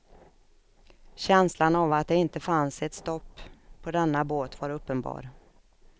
Känslan av att det inte fanns ett stopp på denna båt var uppenbar.